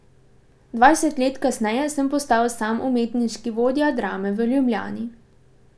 Dvajset let kasneje sem postal sam umetniški vodja Drame v Ljubljani.